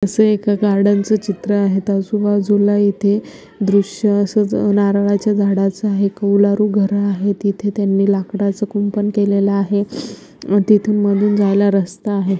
अस एक गार्डन च चित्र आहे आजूबाजूला इथे दृश्य असच नारळाचे झाडाच आहे कौलारू घर आहेत इथे त्यांनी लाकडाच कुंपण केलेल आहे तिथून मधून जायला रस्ता आहे.